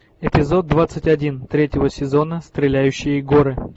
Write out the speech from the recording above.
эпизод двадцать один третьего сезона стреляющие горы